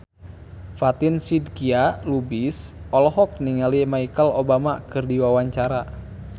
Fatin Shidqia Lubis olohok ningali Michelle Obama keur diwawancara